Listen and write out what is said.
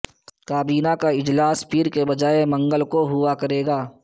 کابینہ کا اجلاس پیر کے بجائے منگل کو ہوا کریگا